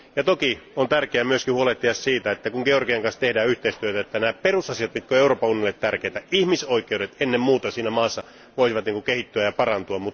Toki on tärkeää myöskin huolehtia siitä, että kun Georgian kanssa tehdään yhteistyötä, että nämä perusasiat, jotka ovat Euroopan unionille tärkeitä, ihmisoikeudet ennen muuta, siinä maassa voisivat kehittyä ja parantua.